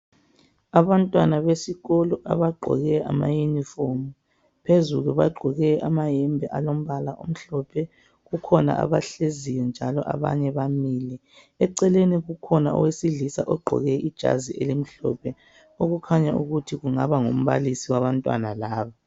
Abantwana besikolo abagqoke amayunifomu phezulu bagqoke amayembe alombala omhlophe kukhona abahleziyo njalo abaye bamile eceleni kukhona owesilisa ogqoke ijazi elimhlophe okukhanya ukuthi kungaba ngumbalisi owabantwana laba